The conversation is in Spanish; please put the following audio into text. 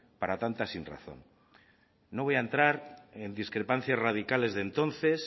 para tanta sinrazón no voy a entrar en discrepancias radicales de entonces